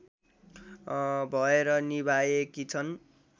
भएर निभाएकी छन्